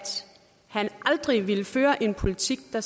han aldrig ville føre en politik der